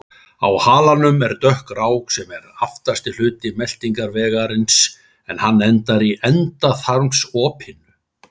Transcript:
Á halanum er dökk rák sem er aftasti hluti meltingarvegarins, en hann endar í endaþarmsopinu.